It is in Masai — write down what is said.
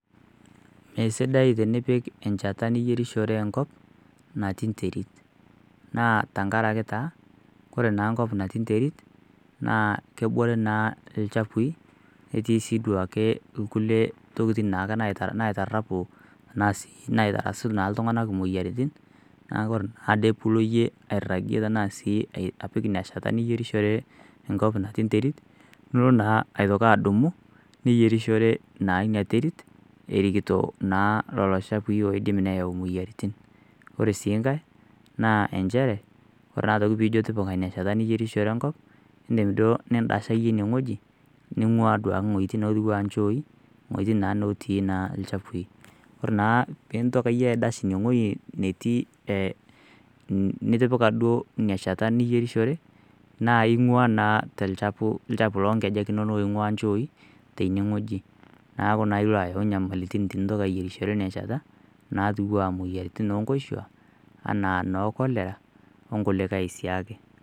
Mesidai tenipik enchata niyerishore enkop najii nterit tenkaraki ore naa enterit naa kebore naa ilchafui netiii siiduake nkulie tokitin naitarapu asuu naa iltung'anak imoyiaritin neeku ore naa piilo iyie airagie enaa sii apik ina shata niyierishore enkop natii enterit nilo naa aitoki adumu ninyierishore naa ina terit erikito lelo chafui oodim neyau imoyiaritin ore sii enkae naa inchere ore taaa piijio tipika ina shata niyierishore enkop indiim duo nindasha iyie ine wueji ning'uaa duake inchooi weuji naa naati ilchafui ore naa peeintoki iyie aidash ine weueji netii nitipika duo ina shata niyerishore naa ing'ua naa tolchafu loonkejek oonchoi tenewueji neeku naaa ilo ayau inyamalaritin tinintoki alo ayierishore ina shata naatiuana imoyiaritin oonkoshuak anaa noo cholera onkulikae siiake